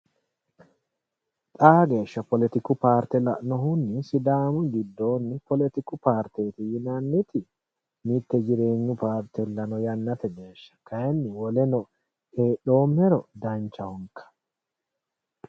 Xaa geeshsha poletiku paarte la'nohunni isi sidaamu giddooni poletiku paarteti yinnanniti mite jireenyu paartella no yannate geeshsha kayinni woleno heedhomero danchahonka.